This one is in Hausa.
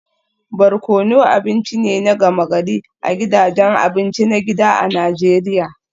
Barkono abinci ne na gama-gari a gidajen abinci na gida a Najeriya